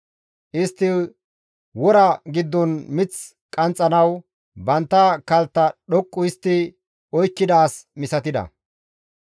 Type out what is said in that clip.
Istti wora giddon mith qanxxanawu bantta kaltta dhoqqu histti oykkida as misatida.